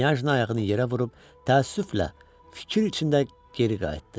Knyajna ayağını yerə vurub təəssüflə fikir içində geri qayıtdı.